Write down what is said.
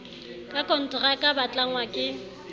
ka konteraka ba tlangwa ke